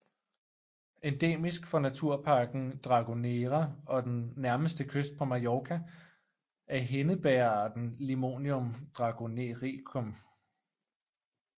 Endemisk for Naturparken Dragonera og den nærmeste kyst på Mallorca er Hindebægerarten Limonium dragonericum